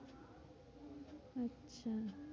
আচ্ছা